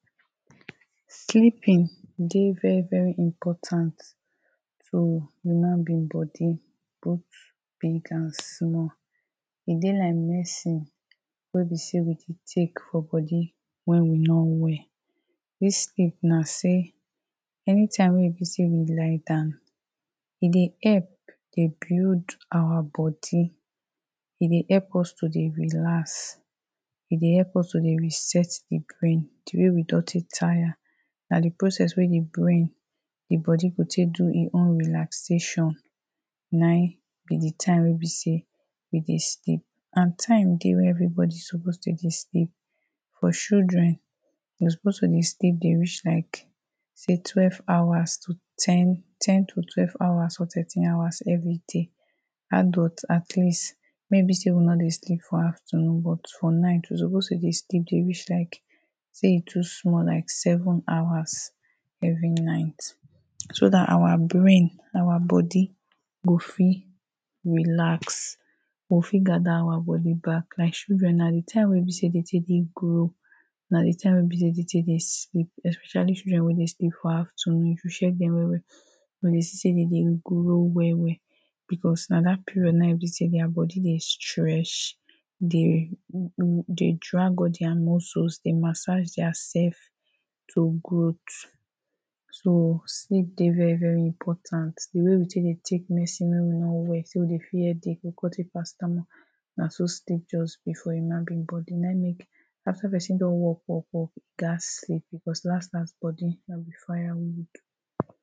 Sleeping dey very very important to human being bodi, both big and small E dey like medicine wey be say we dey take for bodi when we no well This sleep na say anytime wey be say we lie down e dey help dey build our body e dey help us to dey relax. E dey help us to dey reset the brain the way we don take tire na the process wey the brain, the bodi go take do im own relaxation Na him be the time wey be say we dey sleep and time dey wey everybodi suppose to dey sleep For children them supposed to dey sleep dey reach like say, twelve hours. To ten ten to twelve hours or thirteen hours every day Adult at least, maybe say una dey sleep for afternoon but for night you suppose to dey sleep dey reach like say e too small like seven hours every night So that our brain, our bodi go fit relax We go fit gather our bodi back. Like children na the time wey e be say them tek dey grow Na the time wey them tek dey sleep. Especially children wey dey sleep for afternoon, if you check them well well you go dey see say them dey grow well well. Because na that period na im be say their bodi dey stretch dey Dey drag all their muscles dey massage dia self to growth So sleep dey very, very important. The way we take dey take medicine when we no well say we dey feel headache we come take paracetamol na so sleep just be for human being bodi and na im make after person don work work work e gats sleep. Because bodi no be firewood.